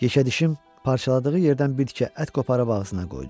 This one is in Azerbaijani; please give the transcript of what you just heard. Yekədişim parçaladığı yerdən bir tikə ət qoparıb ağzına qoydu.